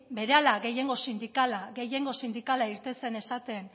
berehala gehiengo sindikala gehiengo sindikala irten zen esaten